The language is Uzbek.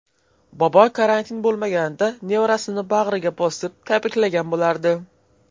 Bobo karantin bo‘lmaganida nevarasini bag‘riga bosib, tabriklagan bo‘lardi.